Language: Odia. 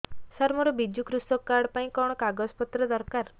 ସାର ମୋର ବିଜୁ କୃଷକ କାର୍ଡ ପାଇଁ କଣ କାଗଜ ପତ୍ର ଦରକାର